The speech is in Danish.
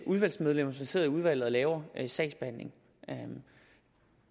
udvalgsmedlemmer som sidder i udvalget og laver sagsbehandlingen